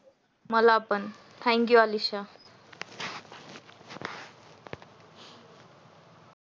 मला पण thank you Alisha